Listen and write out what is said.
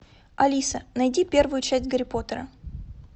алиса найди первую часть гарри поттера